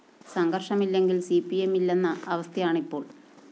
സംഘര്‍ഷമില്ലെങ്കില്‍ സിപിഎമ്മില്ലെന്ന അവസ്ഥയാണ് ഇപ്പോള്‍